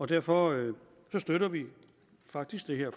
derfor støtter vi faktisk det her